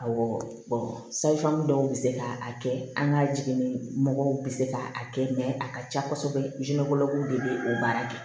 Awɔ sayifanmin dɔw bɛ se k'a kɛ an ka jiginni mɔgɔw bɛ se k'a kɛ a ka ca kosɛbɛ de bɛ o baara kɛ